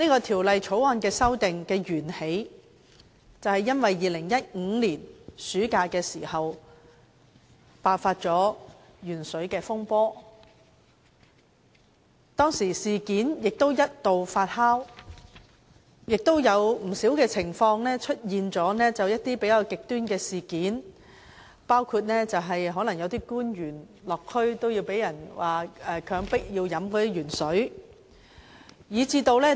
《條例草案》的源起是2015年暑假爆發的鉛水風波，當時事件一度發酵，出現了不少情況，甚至一些比較極端的事件，包括有政府官員落區時被人強迫飲用含鉛食水。